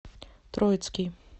троицкий